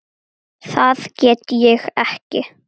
Það get ég ekki